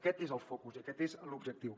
aquest és el focus i aquest és l’objectiu